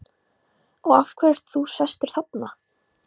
Og af hverju ert þú sestur þarna?